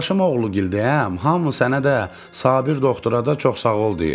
Qardaşım oğlu gildəyəm, hamı sənə də, Sabir doktora da çox sağ ol deyir.